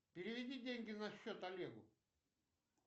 переведи деньги на счет олегу